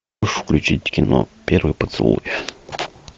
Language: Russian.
включить кино первый поцелуй